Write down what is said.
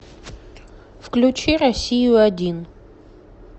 включи россию один